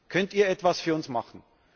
Könnt Ihr etwas für uns machen?